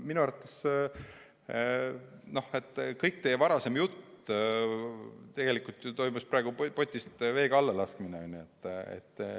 Minu arvates kogu teie varasem jutt – tegelikult lasite selle praegu potist veega alla.